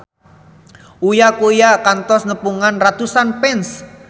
Uya Kuya kantos nepungan ratusan fans